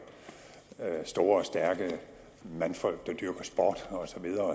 store og stærke mandfolk der dyrker sport osv